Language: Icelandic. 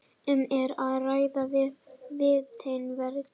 Um er að ræða vitni verjenda